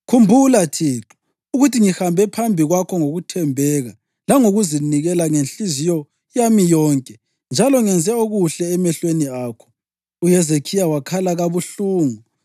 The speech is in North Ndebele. “Khumbula, Thixo, ukuthi ngihambe phambi kwakho ngokuthembeka langokuzinikela ngenhliziyo yami yonke, njalo ngenze okuhle emehlweni akho.” UHezekhiya wakhala kabuhlungu.